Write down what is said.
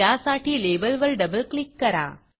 त्यासाठी लेबलवर double click करा